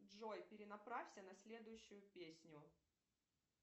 джой перенаправься на следующую песню